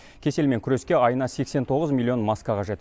кеселмен күреске айына сексен тоғыз миллион маска қажет